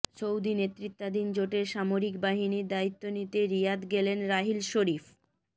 Saudi নেতৃত্বাধীন জোটের সামরিক বাহিনীর দায়িত্ব নিতে রিয়াদ গেলেন রাহিল শরীফ